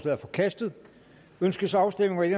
er forkastet ønskes afstemning